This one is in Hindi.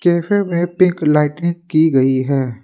कैफे में पिंक लाइटिंग की गई है।